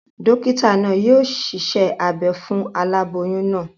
Dókítà naa yio siṣẹ́ abe fún aláboyún naa